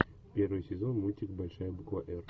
первый сезон мультик большая буква р